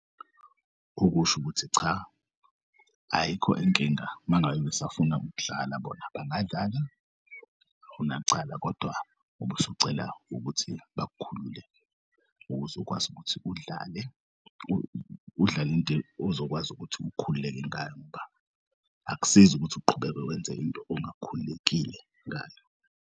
Ukusho ukuthi cha, ayikho inkinga mangabe besafuna ukudlala bona bangadlala akunacala kodwa ubusucela ukuthi bakukhulule ukuze ukwazi ukuthi udlale udlal'into ozokwazi ukuthi ukhululeke ngayo, ngoba akusizi ukuthi uqhubeke wenze into ongakhululekile ngayo.